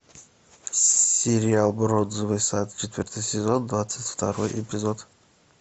сериал бронзовый сад четвертый сезон двадцать второй эпизод